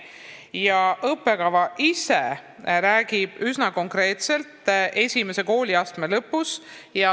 Ja õppekava ise räägib üsna konkreetselt, mida esimese kooliastme lõpus teadma peaks.